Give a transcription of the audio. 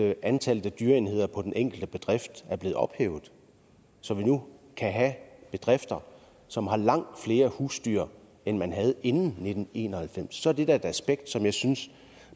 af antallet af dyreenheder på den enkelte bedrift er blevet ophævet så vi nu kan have bedrifter som har langt flere husdyr end man havde inden nitten en og halvfems så er det da et aspekt som jeg synes